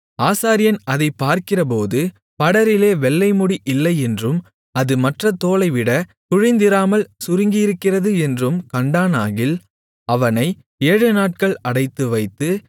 ஆசாரியன் அதைப் பார்க்கிறபோது படரிலே வெள்ளைமுடி இல்லை என்றும் அது மற்ற தோலைவிட குழிந்திராமல் சுருங்கியிருக்கிறது என்றும் கண்டானாகில் அவனை ஏழுநாட்கள் அடைத்துவைத்து